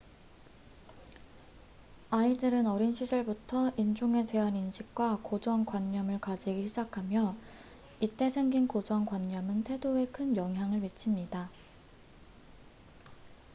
아이들은 어린 시절부터 인종에 대한 인식과 고정관념을 가지기 시작하며 이때 생긴 고정관념은 태도에 큰 영향을 미칩니다